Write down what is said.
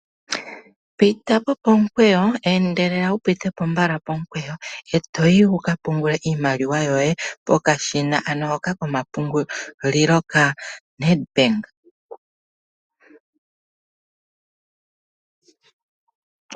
Pitapo pomukweyo, endelela wu pitepo mbala pomukweyo eto yi wuka pungule iimaliwa yoye pokashina ano hoka komapungulilo ka Nedbank.